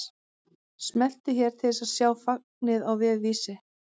Smelltu hér til að sjá fagnið á vef Vísis